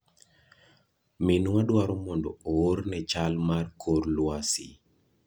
Minwa dwaro mondo oorne chal mar kor lwasi.